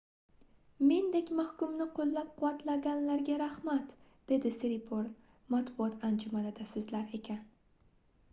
mendek mahkumni qoʻllab-quvvatlaganlarga rahmat dedi siriporn matbuot anjumanida soʻzlar ekan